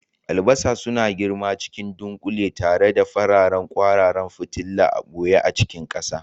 Albasa suna girma cikin dunƙule tare da fararen kwararan fitila a ɓoye a ƙarƙashin ƙasa.